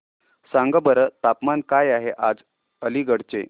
सांगा बरं तापमान काय आहे आज अलिगढ चे